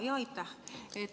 Aitäh!